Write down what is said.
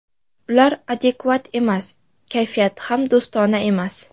Ular adekvat emas, kayfiyati ham do‘stona emas.